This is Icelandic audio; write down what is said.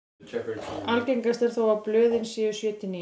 Algengast er þó að blöðin séu sjö til níu.